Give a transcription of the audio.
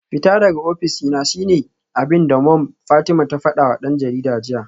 Fita daga ofis dina shine abinda Mom Fatima ta fadawa dan jarida jiya